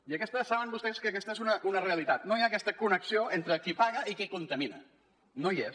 i aquesta saben vostès que és una realitat no hi ha aquesta connexió entre qui paga i qui contamina no hi és